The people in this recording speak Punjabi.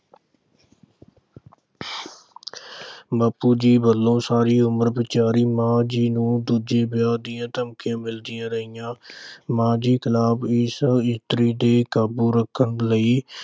ਬਾਪੂ ਜੀ ਵੱਲੋਂ ਮਾਂ ਜੀ ਨੂੰ ਸਾਰੀ ਉਮਰ ਦੂਜੇ ਵਿਆਹ ਦੀਆਂ ਧਮਕੀਆਂ ਮਿਲਦੀਆਂ ਰਹੀਆਂ। ਮਾਂ ਜੀ ਇਸ ਇਸਤਰੀ ਤੇ ਕਾਬੂ ਰੱਖਣ ਲਈ